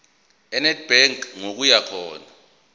enedbank ngokuya khona